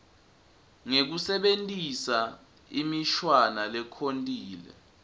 ngekusebentisa imishwana lekhontile